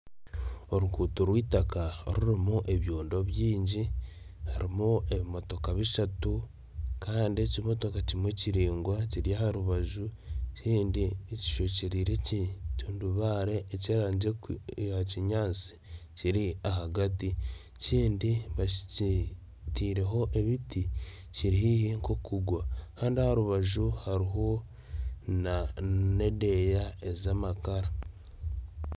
Oruguuto rwitaka orurimu ebyondo byingi harimu ebimotoka bishatu Kandi ekimotoka kimwe kiraingwa kiri aha rubaju ekindi kishwekyereire ekitundubaare eky'erangi eya kinyatsi kiri ahagati ekindi bakiteireho ebiti kiri haihi nkokugwa Kandi aha rubaju hariho nedeeya ez'amakara